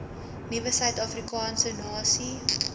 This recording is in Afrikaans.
nuwe suidafrikaanse nasie